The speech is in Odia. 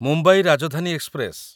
ମୁମ୍ବାଇ ରାଜଧାନୀ ଏକ୍ସପ୍ରେସ